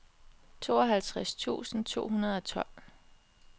tooghalvtreds tusind to hundrede og tolv